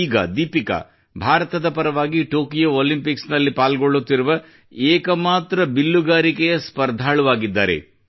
ಈಗ ದೀಪಿಕಾ ಭಾರತದ ಪರವಾಗಿ ಟೊಕಿಟೋ ಒಲಿಂಪಿಕ್ಸ್ ನಲ್ಲಿ ಪಾಲ್ಗೊಳ್ಳುತ್ತಿರುವ ಏಕಮಾತ್ರ ಬಿಲ್ಲುಗಾರಿಕೆಯ ಸ್ಪರ್ಧಾಳು ಆಗಿದ್ದಾರೆ